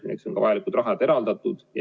Selleks on ka vajalikud rahad eraldatud.